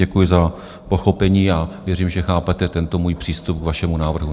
Děkuji za pochopení a věřím, že chápete tento můj přístup k vašemu návrhu.